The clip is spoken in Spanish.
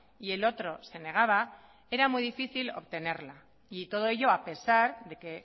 y el otro se negaba era muy difícil obtenerla y todo ello a pesar de que